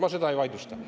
Ma seda ei vaidlusta.